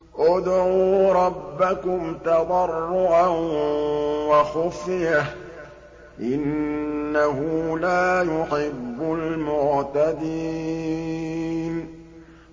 ادْعُوا رَبَّكُمْ تَضَرُّعًا وَخُفْيَةً ۚ إِنَّهُ لَا يُحِبُّ الْمُعْتَدِينَ